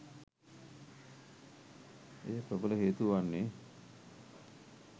එයට ප්‍රබල හේතුව වන්නේ